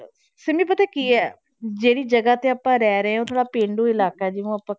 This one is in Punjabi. ਸਿੰਮੀ ਪਤਾ ਕੀ ਹੈ, ਜਿਹੜੀ ਜਗ੍ਹਾ ਤੇ ਆਪਾਂ ਰਹਿ ਰਹੇ ਹਾਂ ਉਹ ਥੋੜ੍ਹਾ ਪੇਂਡੂ ਇਲਾਕਾ ਹੈ ਜਿਹਨੂੰ ਆਪਾਂ